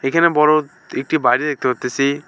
এইখানে বড় একটি বাড়ি দেখতে পারতেসি।